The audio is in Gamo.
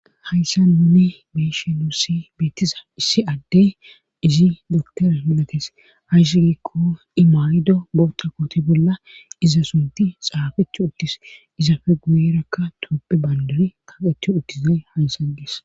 Hayssa nuni be'ishshe nussi beettiza issi addey izi doktora milates ayssi giikko imayiddo botta koote bolla iza sunti xaafethu uttis izafe guyeerakka toophphe bandiri kaaqetu uttizay haysa ges